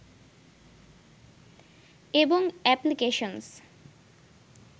এবং এপ্লিকেশনস